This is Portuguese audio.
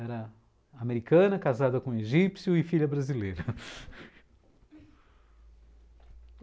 Era americana, casada com egípcio e filha brasileira.